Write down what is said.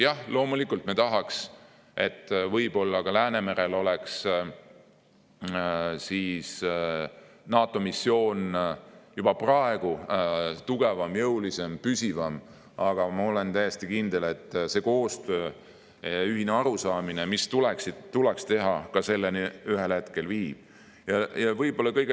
Jah, loomulikult me tahaksime, et Läänemerel oleks NATO missioon juba praegu tugevam, jõulisem ja püsivam, aga ma olen täiesti kindel, et see koostöö, ühine arusaamine, mida tuleks teha, ühel hetkel selleni viib.